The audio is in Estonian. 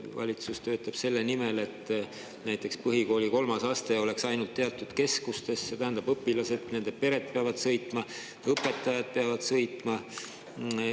Valitsus töötab selle nimel, et näiteks põhikooli kolmas aste oleks ainult teatud keskustes, see tähendab, et õpilased, nende pered peavad sõitma, õpetajad peavad sõitma.